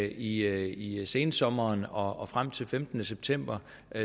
i sensommeren og frem til den femtende september